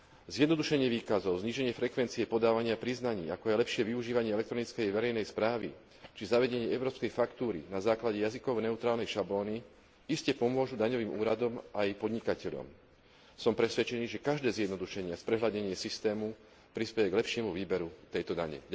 Zjednodušenie výkazov, zníženie frekvencie podávania priznaní, ako aj lepšie využívanie elektronickej verejnej správy či zavedenie európskej faktúry na základe jazykovo neutrálnej šablóny iste pomôžu daňovým úradom aj podnikateľom. Som presvedčený, že každé zjednodušenie a sprehľadnenie systému prispeje k lepšiemu výberu tejto dane.